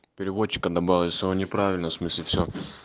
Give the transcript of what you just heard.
переводчик анна борисова неправильно смысле все